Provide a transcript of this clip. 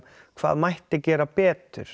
hvað mætti gera betur